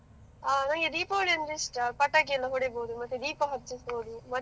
ಆ ನನಗೆ ದೀಪಾವಳಿ ಅಂದರೆ ಇಷ್ಟ, ಪಟಾಕಿ ಎಲ್ಲ ಹೊಡಿಬಹುದು ಮತ್ತೆ ದೀಪ ಹಚ್ಚಿಸಬಹುದು.